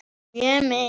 Mjög mikið.